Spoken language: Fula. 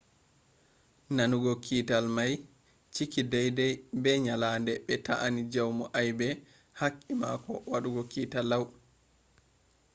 nanugo kiital mai ciki daidai be nyalande be ta'eni jaumu aibe haqqi mako wadugo kiital lau